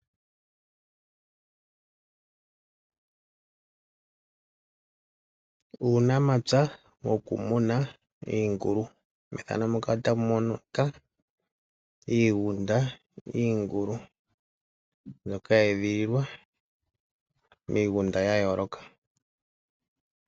Uunamapya wokumuna iingulu, methano muka otamu monika iigunda yiingulu mbyoka ye e dhililwa miigunda ya yooloka.